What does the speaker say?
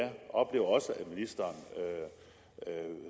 jeg oplever også at ministeren